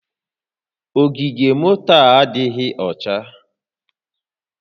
Ogige moto a adịghị ọcha